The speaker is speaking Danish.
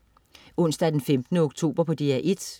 Onsdag den 15. oktober - DR 1: